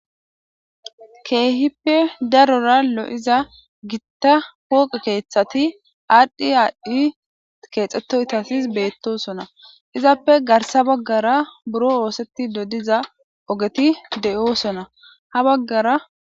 Keehippe darora lo'iza Gita lo'iza pooqe kethat adhi adhi kexetoytat betosona, izappe garsa bagara buro osetido diza ogeti de'osona, ha bagara